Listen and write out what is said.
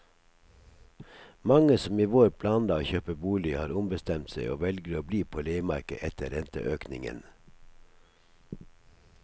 Mange som i vår planla å kjøpe bolig, har ombestemt seg og velger å bli på leiemarkedet etter renteøkningen.